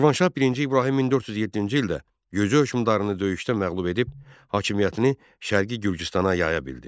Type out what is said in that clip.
Şirvanşah birinci İbrahim 1407-ci ildə Gürcü hökmdarını döyüşdə məğlub edib hakimiyyətini Şərqi Gürcüstana yaya bildi.